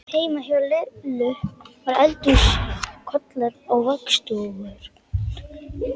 Heima hjá Lillu voru eldhúskollar og vaxdúkur.